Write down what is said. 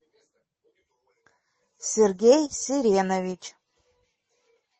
сергей серенович